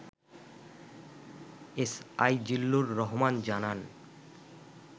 S I Zillur Rahman জানান